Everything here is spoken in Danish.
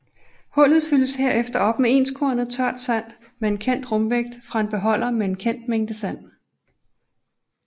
Hullet fyldes herefter op med enskornet tørt sand med kendt rumvægt fra en beholder med en kendt mængde sand